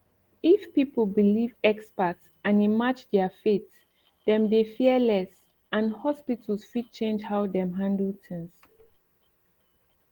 if people believe expert and e match their faith dem dey fear less and hospitals fit change how dem handle things